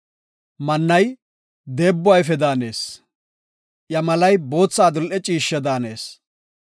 Mannay deebbo ayfe daanees; iya malay bootha adil7e ciishshe daanees.